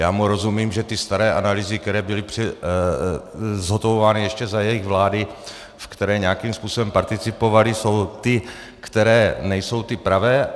Já mu rozumím, že ty staré analýzy, které byly zhotovovány ještě za jejich vlády, v které nějakým způsobem participovali, jsou ty, které nejsou ty pravé.